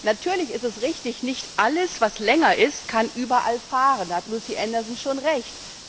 Natürlich ist es richtig Nicht alles, was länger ist, kann überall fahren, da hat Lucy Anderson schon recht.